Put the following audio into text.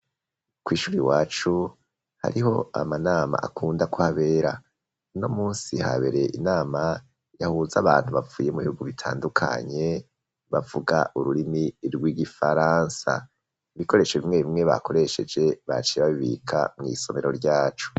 Kw'ishuri iwacu hariho amanama akunda kuhabera. Uno munsi habereye inama yahuze abantu bavuye mu bihugu bitandukanye bavuga ururimi rw'igifaransa. Ibikoresho bimwe bimwe bakoresheje baciye babibika mw'isomero ryacu.